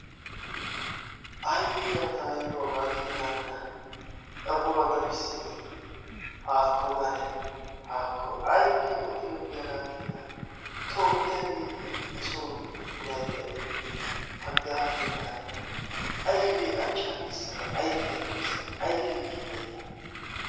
Aybe la tayilo hagaakena nena xaphphuwa dafisidi; haako gane! Hako aybe oddiyobi hagaakena? Toophiyabeye nesobe ne odaydda de'iyoy? Hagaakena nena achcha keessada ayfiya toyssada aybe kiyiday la?